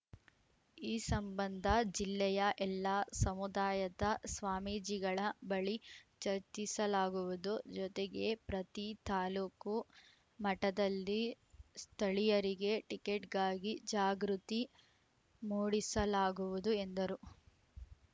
ಈ ಸಂಬಂಧ ಜಿಲ್ಲೆಯ ಎಲ್ಲ ಸಮುದಾಯದ ಸ್ವಾಮೀಜಿಗಳ ಬಳಿ ಚರ್ಚಿಸಲಾಗುವುದು ಜೊತೆಗೆ ಪ್ರತಿ ತಾಲೂಕು ಮಟದಲ್ಲಿ ಸ್ಥಳೀಯರಿಗೆ ಟಿಕೆಟ್‌ಗಾಗಿ ಜಾಗೃತಿ ಮೂಡಿಸಲಾಗವುದು ಎಂದರು